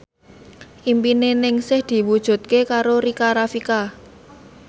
impine Ningsih diwujudke karo Rika Rafika